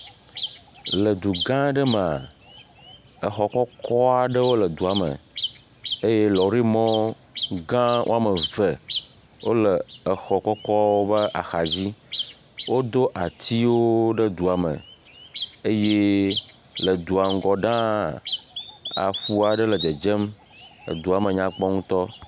Le du gã aɖe me. Exɔ kɔkɔ aɖewo le edua me eye lɔri mɔ gã waome ve wole exɔ kɔkɔ be axa dzi. Wodo atiwo ɖe dua me eye le dua ŋgɔ ɖaa aƒua ɖe le dzedzem. Edua me nyakpɔ ŋutɔ